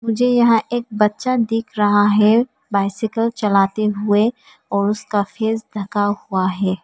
मुझे यहां एक बच्चा दिख रहा है बाइसिकल चलाते हुए और उसका फेस ढका हुआ है।